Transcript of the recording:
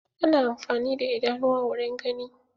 Ana amfani da idanuwa wurin gani.